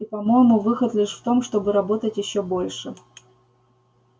и по-моему выход лишь в том чтобы работать ещё больше